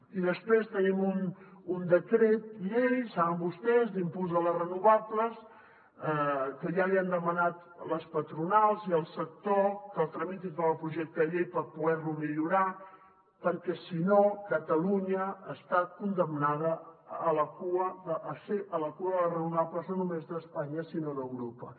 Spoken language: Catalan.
i després tenim un decret llei saben vostès d’impuls de les renovables que ja els hi han demanat les patronals i el sector que el tramiti com a projecte de llei per poder lo millorar perquè si no catalunya està condemnada a ser a la cua de les renovables no només d’espanya sinó d’europa